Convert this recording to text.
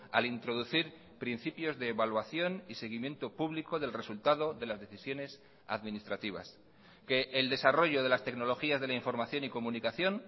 al introducir principios de evaluación y seguimiento público del resultado de las decisiones administrativas que el desarrollo de las tecnologías de la información y comunicación